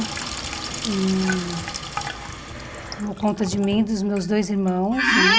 E tomou conta de mim, dos meus dois irmãos, né?